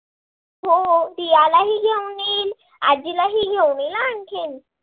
हो रीयालाही घेऊन येईन, आजीलाही घेऊन येईन, आणखीन?